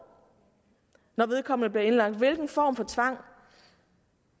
når vedkommende bliver indlagt hvilken form for tvang